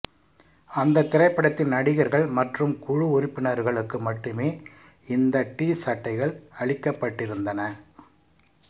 அந்தத் திரைப்படத்தின் நடிகர்கள் மற்றும் குழு உறுப்பினர்களுக்கு மட்டுமே இந்த டிசட்டைகள் அளிக்கப்பட்டிருந்தன